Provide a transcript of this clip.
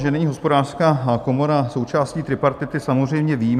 Že není Hospodářská komora součástí tripartity samozřejmě vím.